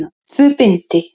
Tvö bindi.